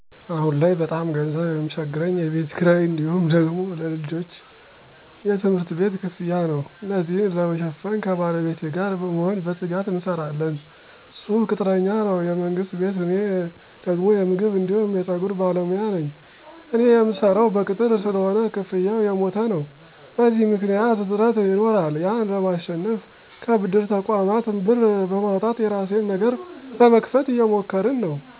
አሁን ላይ በጣም ገንዘብ ሚቸግረኝ የቤት ክራይ እንዲሁም ደግሞ ለልጄ የትምህርት ቤት ክፍያ ነው። እነዚን ለመሸፈን ከባለቤቴ ጋር በመሆን በትጋት እንሰራለን እሱ ቅጥረኛ ነው የመንግስት ቤት እኔ ደግሞ የምግብ አንዲሁም የፀጉር ባለሞያ ነኝ። እኔ ምሰራው በቅጥር ስለሆነ ክፍያው የሞተ ነው። በዚህ ምክኒያት እጥረት ይኖራል ያን ለማሸነፍ ከብድር ተቆማት ብር በማውጣት የራሴን ነገር ለመክፈት እየሞከርን ነው።